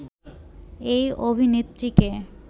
এই অভিনেত্রীকে